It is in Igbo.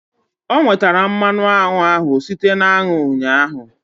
O nwetara mmanụ aṅụ ahụ site na aṅụ ụnyaahụ.